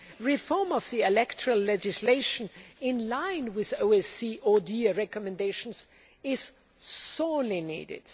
Reform of the electoral legislation in line with OSCE ODIHR recommendations is sorely needed.